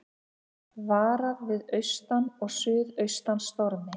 Varað við austan og suðaustan stormi